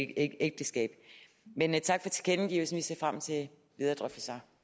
ægteskab men tak for tilkendegivelsen vi ser frem til videre drøftelser